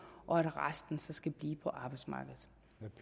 og at resten så skal blive på arbejdsmarkedet